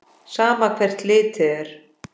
Sama hvert litið er.